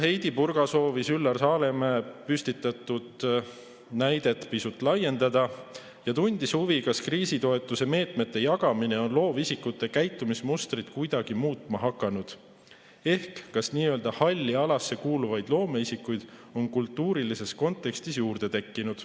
Heidy Purga soovis Üllar Saaremäe püstitatud näidet pisut laiendada ja tundis huvi, kas kriisitoetusmeetmete jagamine on loovisikute käitumismustrit kuidagi muutma hakanud, ehk kas nii-öelda halli alasse kuuluvaid loomeisikuid on kultuurilises kontekstis juurde tekkinud.